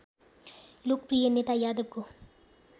लोकप्रिय नेता यादवको